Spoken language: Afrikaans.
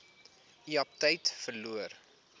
u aptyt verloor